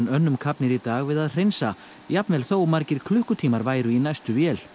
önnum kafnir í dag við að hreinsa jafnvel þó margir klukkutímar væru í næstu vél